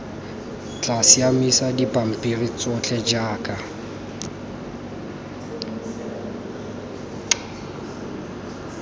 tla siamisa dipampiri tsotlhe jaaka